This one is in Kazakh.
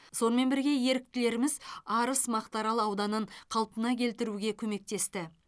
сонымен бірге еріктілеріміз арыс мақтаарал ауданын қалпына келтіруге көмектесті